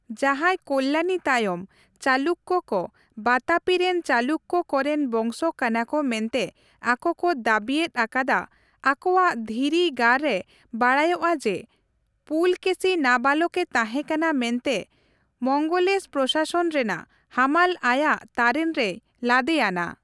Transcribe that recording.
ᱡᱟᱸᱦᱟᱭ ᱠᱚᱞᱞᱟᱱᱤ ᱛᱟᱭᱚᱢ ᱪᱟᱞᱩᱠᱠᱚ ᱠᱚ ᱵᱟᱛᱟᱯᱤ ᱨᱮᱱ ᱪᱟᱞᱩᱠᱠᱚ ᱠᱚᱨᱮᱱ ᱵᱚᱝᱥᱚ ᱠᱟᱱᱟ ᱠᱚ ᱢᱮᱱᱛᱮ ᱟᱠᱚ ᱠᱚ ᱫᱟᱵᱤᱭᱮᱛ ᱟᱠᱟᱫᱟ, ᱟᱠᱚᱣᱟᱜ ᱫᱷᱤᱨᱤ ᱜᱟᱨ ᱨᱮ ᱵᱟᱰᱟᱭᱚᱜᱼᱟ ᱡᱮ ᱯᱩᱞᱚᱠᱮᱥᱤ ᱱᱟᱵᱟᱞᱚᱠ ᱮ ᱛᱟᱸᱦᱮᱠᱟᱱᱟ ᱢᱮᱱᱛᱮ ᱢᱚᱝᱜᱚᱞᱮᱥ ᱯᱨᱚᱥᱟᱥᱚᱱ ᱨᱮᱱᱟᱜ ᱦᱟᱢᱟᱞ ᱟᱭᱟᱜ ᱛᱟᱨᱮᱱ ᱨᱮᱭ ᱞᱟᱫᱮ ᱟᱱᱟ ᱾